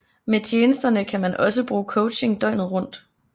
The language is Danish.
Med tjenesterne kan man også bruge coaching døgnet rundt